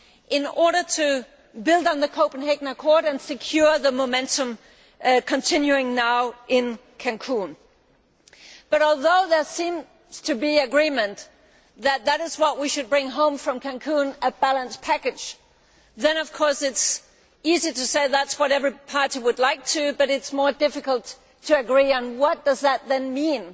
in order to build on the Copenhagen Accord and secure the momentum now continuing in Cancún. But although there seems to be agreement that this is what we should bring home from Cancún a balanced package it is easy to say that is what every party would like but more difficult to agree on what that then means.